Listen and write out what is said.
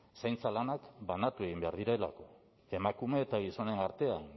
zaintza lanak banatu egin behar direlako emakume eta gizonen artean